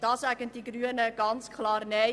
Dazu sagen die Grünen ganz klar Nein.